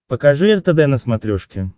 покажи ртд на смотрешке